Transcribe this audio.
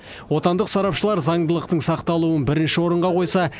отандық сарапшылар заңдылықтың сақталуын бірінші орынға қойса